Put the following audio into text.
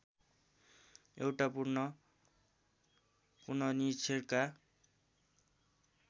एउटा पूर्ण पुनरीक्षणका